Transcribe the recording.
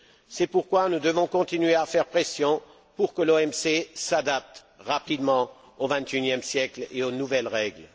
C'est pourquoi nous devons continuer à faire pression pour que l'OMC s'adapte rapidement au XXI e siècle et aux nouvelles règles.